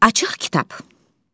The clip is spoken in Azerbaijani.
Açıq kitab.